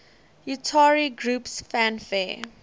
utari groups fanfare